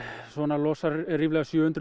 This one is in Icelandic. losar ríflega sjö hundruð